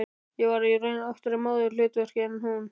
Ég var í raun oftar í móðurhlutverkinu en hún.